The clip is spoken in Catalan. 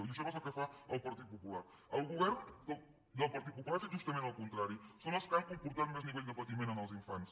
i això no és el que fa el partit po·pular el govern del partit popular ha fet justament el contrari són els que han comportat més nivell de patiment als infants